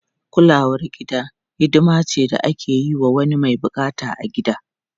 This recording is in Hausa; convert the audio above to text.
Kulawar gida hidima ce da ake yi wa wani mai bukata a gida.